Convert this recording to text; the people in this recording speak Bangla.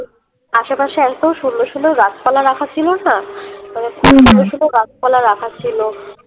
আশেপাশে এতো সুন্দর সুন্দর গাছপালা রাখা ছিল না? সুন্দর সুন্দর গাছপালা রাখা ছিল